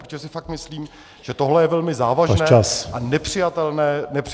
Protože si fakt myslím, že tohle je velmi závažné a nepřijatelný návrh.